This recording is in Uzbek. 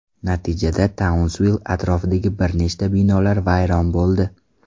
Natijada Taunsvill atrofidagi bir nechta binolar vayron bo‘ldi.